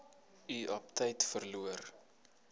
u aptyt verloor